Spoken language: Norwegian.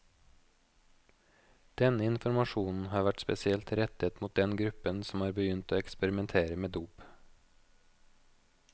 Denne informasjonen har vært spesielt rettet mot den gruppen som har begynt å eksperimentere med dop.